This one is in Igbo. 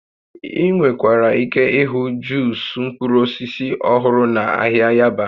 Ị nwekwara ike ịhụ Juus mkpụrụ osisi ọhụrụ na ahịa Yaba